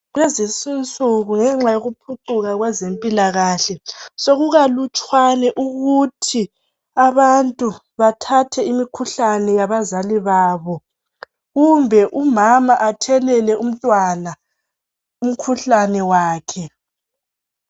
Lezinsuku ngenxa yokuphucuka kwezempilakahle sokukalutshwane ukuthi abantu bathathe imikhuhlane yabazali babo kumbe umama athelele umntwana umkhuhlane wakhe.